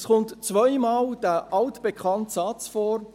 Es kommt zweimal dieser altbekannte Satz vor: